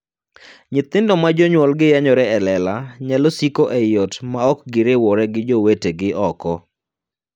Nyithindo ma jonyuolgi yanyore e lela nyalo siko ei ot ma ok giriwore gi jowetegi oko.